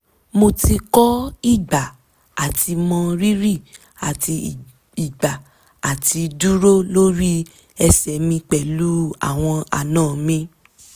mo ti kọ ìgbà àti mọ rírí àti ìgbà àti dúró lórí ẹsẹ̀ mi pẹ̀lú àwọn àna mi